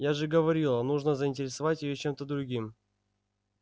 я же говорила нужно заинтересовать её чем-то другим